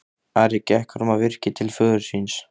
Ari gekk fram á virkið til föður síns.